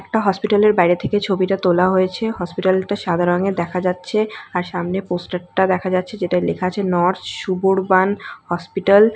একটা হসপিটালের বাইরে থেকে ছবিটা তোলা হয়েছে হসপিটাল -টা সাদা রঙের দেখা যাচ্ছে আর সামনে পোস্টার -টা দেখা যাচ্ছে যেটায় লেখা আছে নর সুবরবান হসপিটাল ।